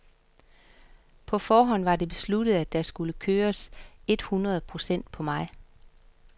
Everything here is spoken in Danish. På forhånd var det besluttet, at der skulle køres et hundrede procent for mig.